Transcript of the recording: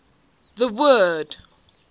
the word